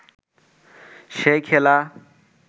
সেই খেলা